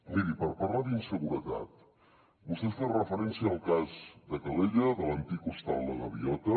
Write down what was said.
miri per parlar d’inseguretat vostè fa referència al cas de calella de l’antic hostal la gaviota